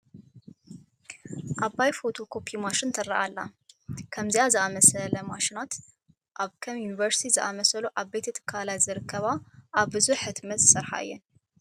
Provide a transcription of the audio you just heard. ዓባይ ፎቶ ኮፒ ማሽን ትርአ ኣላ፡፡ ከምዚአ ዝኣምሰለ ማሽናት ኣብ ከም ዩኒቨርሲቲ ዝኣምሰሉ ዓበይቲ ትካላት ዝርከባ ኣብ ብዙሕ ሕትመት ዝሰርሓ እየን፡፡